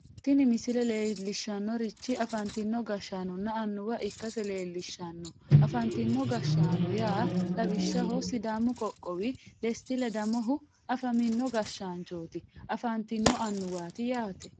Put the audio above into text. tini misile leellishshannorichi afantino gashshaanonna annuwa ikkase leellishshanno afantino gashshaano yaa lawishshaho sidaami qoqqowi desti ledamohu afamino gashshaanchooti afantino annuwaati yaa.